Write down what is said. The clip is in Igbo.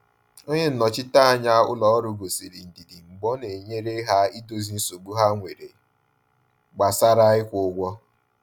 Onye nnọchiteanya ụlọ ọrụ gosiri ndidi mgbe ọ na-enyere ha idozi nsogbu ha nwere gbasara ịkwụ ụgwọ.